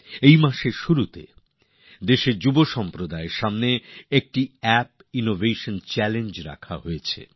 এই মাসের শুরুতেই দেশের যুবকদের সামনে একটি অ্যাপ ইনোভেশন চাল্লেঞ্জ রাখা হয়েছিল